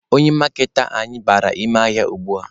Onye maaketa anyị bara ime ahịa ugbua.